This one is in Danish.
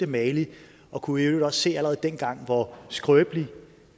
mali og kunne i øvrigt også se allerede dengang hvor skrøbeligt